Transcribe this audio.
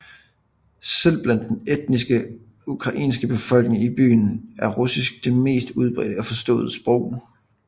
Selv blandt den etnisk ukrainske befolkning i byen er russisk det mest udbredte og forståede sprog